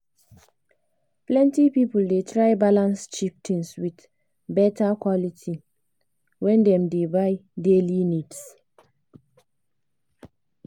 plenty people dey try balance cheap things with better quality when dem dey buy daily needs.